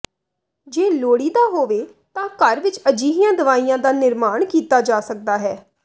ਜੇ ਲੋੜੀਦਾ ਹੋਵੇ ਤਾਂ ਘਰ ਵਿਚ ਅਜਿਹੀਆਂ ਦਵਾਈਆਂ ਦਾ ਨਿਰਮਾਣ ਕੀਤਾ ਜਾ ਸਕਦਾ ਹੈ